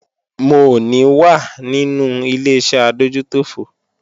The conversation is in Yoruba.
Mò ní wà nínú Ileṣẹ́ adójútòfò